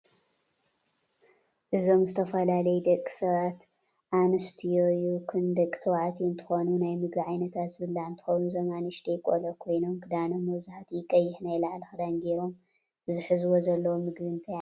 እዞም ዝተፈላለዩ ደቂ ኣንስትዮይኩን ደቂ ተባዕትዮ እንትኮኑ ናይ ምግብ ዓይነታት ዝብላዕ እንትከውን እዞም ኣንእሽተይ ቀሉዑ ኮይኖም ክዳኖም መብዛሕትኦም ቀይሕ ናይ ላዕሊ ክዳን ገይሮም እቲ ዝሕዝዎ ዘለው ምግብ እንታይ ዓይነት እዩ።